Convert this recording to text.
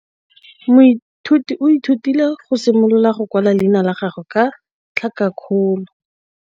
Moithuti o ithutile go simolola go kwala leina la gagwe ka tlhakakgolo.